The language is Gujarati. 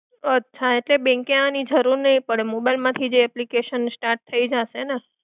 અચ્છા, તો bank એ આવવાની જરૂર નહીં પડે. mobile માંથી જ application start થઈ જશે ને?